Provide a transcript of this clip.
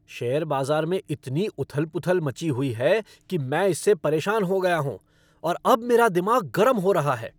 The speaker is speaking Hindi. शेयर बाजार में इती उथल पुथल मची हुई है कि मैं इससे परेशान हो गया हूँ और अब मेरा दिमाग गरम हो रहा है।